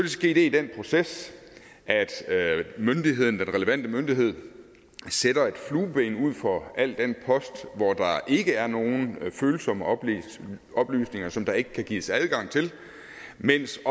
ske det i den proces at myndigheden den relevante myndighed sætter et flueben ud for al den post hvor der ikke er nogen følsomme oplysninger oplysninger som der ikke kan gives adgang til mens